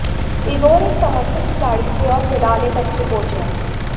Igor एक समर्पित खिलाड़ी थे और फिलहाल एक अच्छे कोच हैं